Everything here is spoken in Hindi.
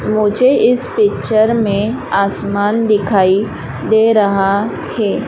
मुझे इस पिक्चर में आसमान दिखाई दे रहा हे।